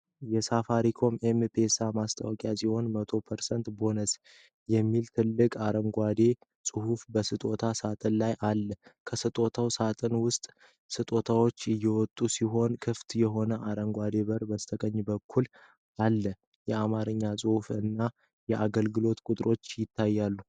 የሳፋሪኮም/ኤም-ፔሳ ማስታወቂያ ሲሆን "100% ቦነስ" የሚል ትልቅ አረንጓዴ ጽሑፍ በስጦታ ሳጥን ላይ አለ። ከስጦታ ሳጥኖች ውስጥ ስጦታዎች እየወጡ ሲሆን ክፍት የሆነ አረንጓዴ በር በስተቀኝ በኩል አለ። የአማርኛ ጽሑፎች እና የአገልግሎት ቁጥሮችም ይታያሉ።